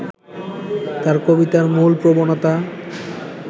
তাঁর কবিতার মূল প্রবণতা